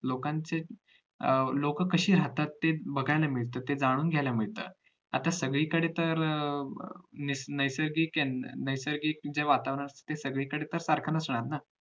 लोकांचे अं लोक कशी राहतात ते बघायला मिळत ते जाणून घ्यायला मिळतं आता सगळी कडे तर अं messagemessage च तर सारखं सुरु आहे ना